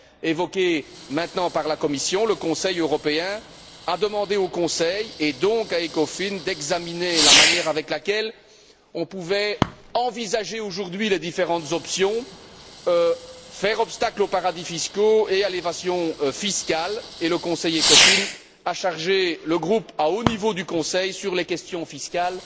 évoquée maintenant par la Commission, le Conseil européen a demandé au Conseil, et donc à ECOFIN, d'examiner la manière avec laquelle on pouvait envisager aujourd'hui les différentes options pour faire obstacle aux paradis fiscaux et à l'évasion fiscale, et le Conseil ECOFIN a chargé le groupe à haut niveau du Conseil sur les questions fiscales